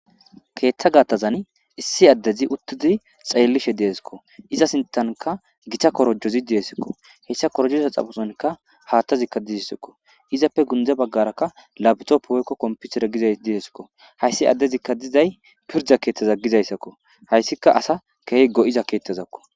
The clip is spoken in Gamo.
keeththa gaattazan issi addezi uttizi xeellishe deesikko iza sintanka gita korojozi diyesikko heyssa korjoza xafosonka haattazikka dizessakko izappe gundze baggarakka labitoppi hoykko komputere gizay diesikko hayssi addezikka dizay pirda keeththaza gizayssakko hayssika asa keehi go7iza keettazakko